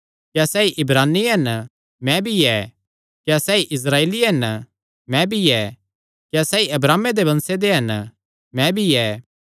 क्या सैई इब्रानी हन मैं भी ऐ क्या सैई इस्राएली हन मैं भी ऐ क्या सैई अब्राहमे दे वंश हन मैं भी ऐ